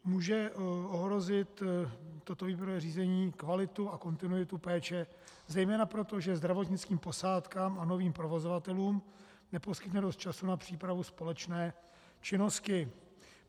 Může ohrozit toto výběrové řízení kvalitu a kontinuitu péče zejména proto, že zdravotnickým posádkám a novým provozovatelům neposkytne dost času na přípravu společné činnosti.